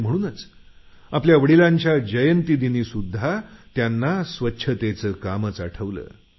आणि म्हणूनच आपल्या वडिलांच्या जयंती दिनी त्यांना स्वच्छतेचं काम आठवलं